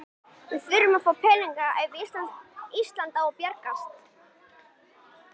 Við þurfum þá peninga ef Ísland á að braggast.